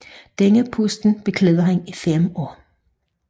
Denne post beklædte han i fem år